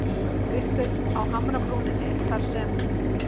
Uppi á hamrabrúninni þar sem